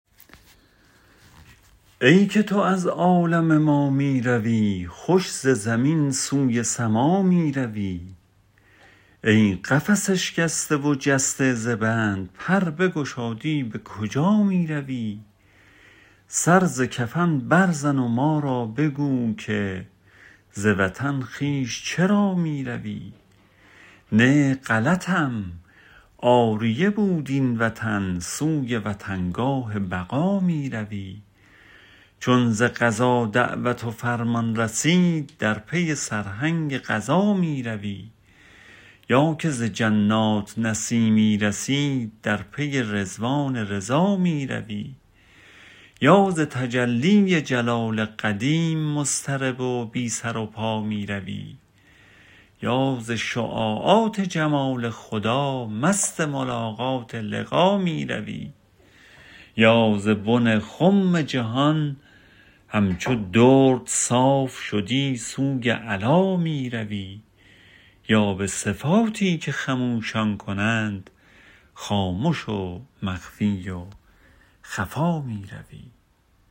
ای که تو از عالم ما می روی خوش ز زمین سوی سما می روی ای قفس اشکسته و جسته ز بند پر بگشادی به کجا می روی سر ز کفن بر زن و ما را بگو که ز وطن خویش چرا می روی نی غلطم عاریه بود این وطن سوی وطنگاه بقا می روی چون ز قضا دعوت و فرمان رسید در پی سرهنگ قضا می روی یا که ز جنات نسیمی رسید در پی رضوان رضا می روی یا ز تجلی جلال قدیم مضطرب و بی سر و پا می روی یا ز شعاعات جمال خدا مست ملاقات لقا می روی یا ز بن خم جهان همچو درد صاف شدی سوی علا می روی یا به صفاتی که خموشان کنند خامش و مخفی و خفا می روی